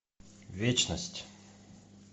вечность